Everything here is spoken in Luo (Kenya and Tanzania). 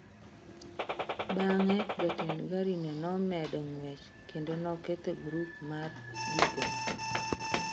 Bang’e, jatend garino nomedo ng’wech kendo noketho grup mar jigo.